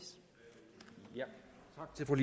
får